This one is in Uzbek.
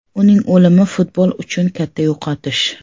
Uning o‘limi futbol uchun katta yo‘qotish.